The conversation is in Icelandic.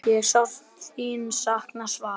Ég sárt þín sakna, Svala.